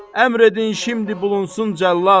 Əmr edin şimdi bulunsun cəllad.